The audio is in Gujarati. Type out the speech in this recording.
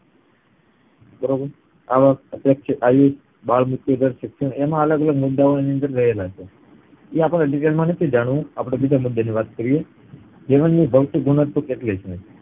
બરોબર આવક, અપેક્ષિત આયુષ, બાળમુર્ત્યું દર, શિક્ષણ એમાં અલગ ગલગ મુદ્દા ઓ એની અંદર રહેલા છે તે અપડે detail માં નથી જાણવું આપડે બીજા મુદ્દા ની વાત કરીયે જીવનની ભૌતિક ગુણવત્તા કેટલી છે